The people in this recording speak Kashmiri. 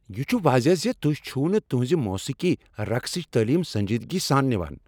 یہ چھ واضح ز تہۍ چھو نہٕ تہنٛزِ موسیقی، رقصچ تٲلیم سنجیدگی سان نوان۔